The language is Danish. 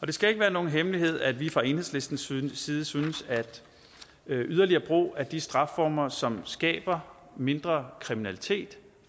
det skal ikke være nogen hemmelighed at vi fra enhedslistens side synes at yderligere brug af de strafformer som skaber mindre kriminalitet